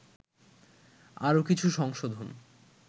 আরো কিছু সংশোধন